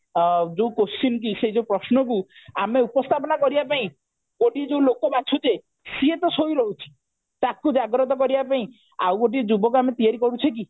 3ଆଁ ଜ୍ପୋଉ question କି ସେଇ ଯୋଉ ପ୍ରଶ୍ନ କୁ ଆମେ ଉପସ୍ଥାପନ କରିବା ପାଇଁ ଗୋଟିଏ ଯୋଉ ଲୋକ ବାଛୁଛେ ସିଏ ଟା ସୋଇ ରହୁଛି ତାକୁ ଜାଗ୍ରତ କରିବା ପାଇଁ ଆଉ ଗୋଟିଏ ଯୁବକ ଆମେ ତିଆରି କରୁଛେ କି